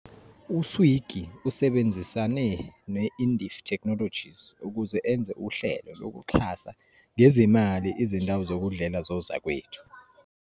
U-Swiggy usebenzisane ne-Indifi Technologies ukuze enze uhlelo lokuxhasa ngezimali izindawo zokudlela zozakwethu.